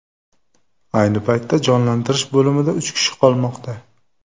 Ayni paytda jonlantirish bo‘limida uch kishi qolmoqda.